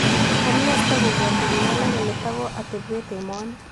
Amune sitogopwatii biik alak kole tago atebweett emonii